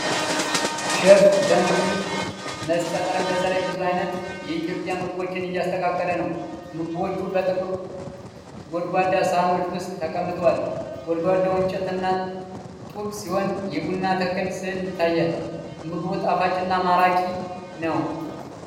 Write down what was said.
ሼፍ በምግብ መስጫ ጠረጴዛ ላይ ብዙ ዓይነት የኢትዮጵያ ምግቦችን እያስተካከለ ነው። ምግቦቹ በጥቁር ጎድጓዳ ሳህኖች ውስጥ ተቀምጠዋል። ግድግዳው እንጨትና ጡብ ሲሆን፣ የቡና ተክል ስዕል ይታያል። ምግቡ ጣፋጭና ማራኪ ነው?